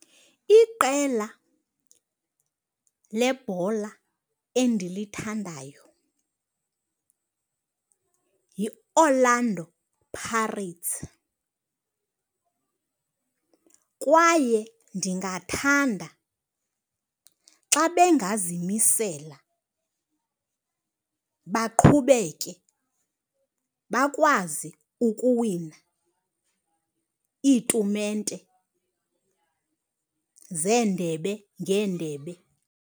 Iqela lebhola endilithandayo yiOrlando Pirates kwaye ndingathanda xa bengazimisela baqhubeke bakwazi ukuwina iitumente zendebe ngeendebe.